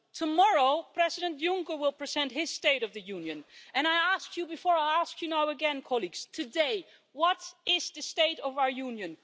Tomorrow, President Juncker will present his State of the Union, and I asked you before I ask you now again, colleagues today, what is the state of our Union?